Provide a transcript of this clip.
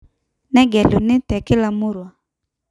negeluni te kila murrua